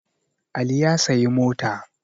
Ali ya sayi mota